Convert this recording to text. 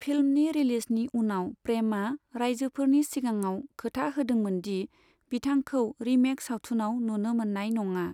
फिल्मनि रिलिजनि उनाव प्रेमआ रायजोफोरनि सिगाङाव खोथा होदोंमोनदि बिथांखौ रिमेक सावथुनाव नुनो मोन्नाय नङा।